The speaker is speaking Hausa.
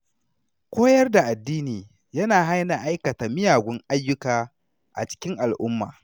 Koyar da addini yana hana aikata miyagun ayyuka a cikin al’umma.